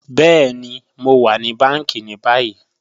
Bẹẹ̀ni, Mo wa ni bàńkí ni bàyì.